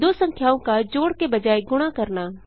दो संख्याओं का जोड़ के बजाय गुणा करना